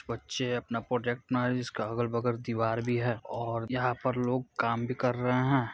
बच्चे अपना प्रोजेक्ट बना रहे है जिसका अगल-बगल दीवार भी है और यहां पर लोग काम भी कर रहे है।